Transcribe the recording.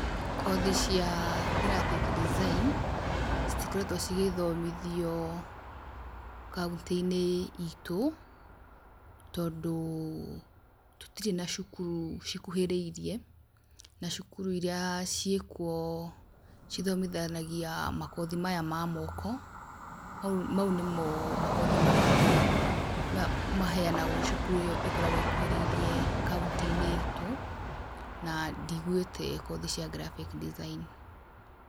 Kothi cia graphic design citikoretwo cigĩthomithio kauntĩinĩ itũ, tondũ tũtirĩ na cukuru cikuhĩrĩirie, na cukuru iria ciĩ kuo, cithomithanagia makothi maya ma moko, mau nĩmo makothi marĩa me ma maheanagwo cukuru ĩyo ĩkoragwo ĩkũhĩrĩirie kaũntinĩ itũ na ndiguĩte kothi cia graphic design.